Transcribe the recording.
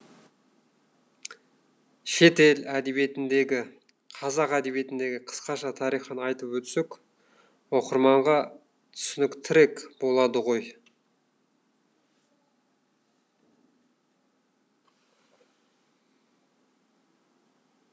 шетел әдебиетіндегі қазақ әдебиетіндегі қысқаша тарихын айтып өтсек оқырманға түсініктірек болады ғой